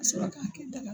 Ka sɔrɔ k'a kɛ daga